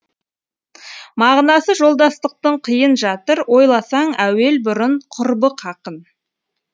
мағынасы жолдастықтың қиын жатыр ойласаң әуел бұрын құрбы хақын